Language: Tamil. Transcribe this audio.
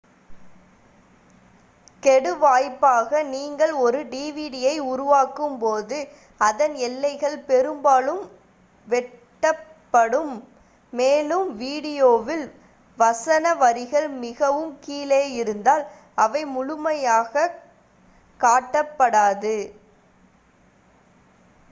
கெடுவாய்ப்பாக நீங்கள் ஒரு டிவிடியை உருவாக்கும்போது அதன் எல்லைகள் பெரும்பாலும் வெட்டப்படும் மேலும் வீடியோவில் வசன வரிகள் மிகவும் கீழே இருந்தால் அவை முழுமையாகக் காட்டப்படாது